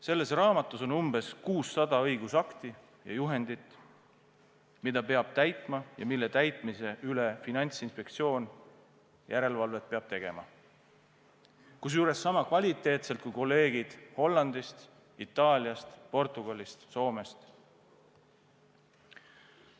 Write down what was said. Selles raamatus on umbes 600 õigusakti ja juhendit, mida peab täitma ja mille täitmise üle Finantsinspektsioon järelevalvet peab tegema, kusjuures sama kvaliteetselt kui kolleegid Hollandist, Itaaliast, Portugalist, Soomest.